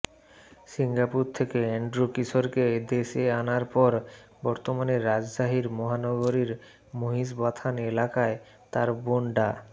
Singapore থেকে Andrew কিশোরকে দেশে আনার পর বর্তমানে রাজশাহীর মহানগরীর মহিষবাথান এলাকায় তার বোন ডা